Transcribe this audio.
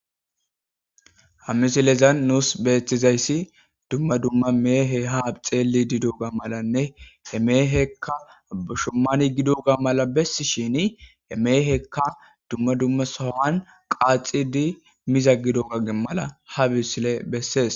Ha misilezan nus betiziysi dumma dumma mehey ha xellidi diyogamalanne He meheyka gushemane gidoysa malane gidoga mala besishini he meyikka dumma dumma sohan qaxxidi mizagada mala ha misiley beses.